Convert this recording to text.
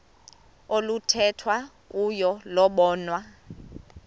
oluthethwa kuyo lobonwa